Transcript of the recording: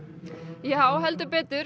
já heldur betur